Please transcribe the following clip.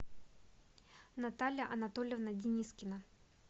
наталья анатольевна денискина